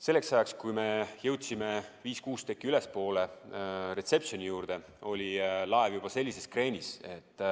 Selleks ajaks, kui me jõudsime viis kuni kuus tekki ülespoole, reception'i juurde, oli laev juba sellises kreenis, et